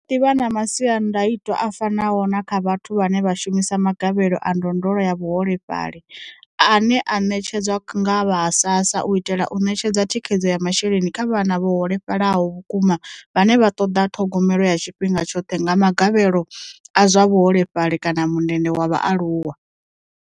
Hu ḓo ḓi vha na masiandaitwa a fanaho na kha vhathu vhane vha shumisa magavhelo a ndondolo ya vhaholefhali, ane a ṋetshedzwa nga vha ha SASSA u itela u ṋetshedza thikhedzo ya masheleni kha vhana vho holefhalaho vhukuma vhane vha ṱoḓa ṱhogomelo ya tshifhinga tshoṱhe nga magavhelo a zwa vhuholefhali kana mundende wa vhaaluwa.